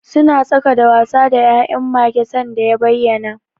Suna tsaka da wasa da ya'yan mage sanda ya bayyana.